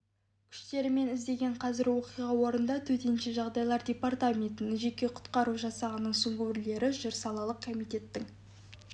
күштерімен іздеген қазір оқиға орнында төтенше жағдайлар департаментінің жеке құтқару жасағының сүңгуірлері жүр салалық комитеттің